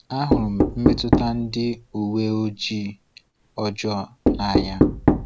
Ahụrụ m mmetụta ndị uwe ojii ọjọọ n’anya.